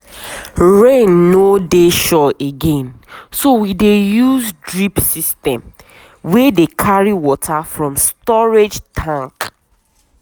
rain no dey sure again so we dey use drip system wey dey carry water from storage tank.